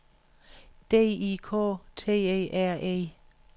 D I K T E R E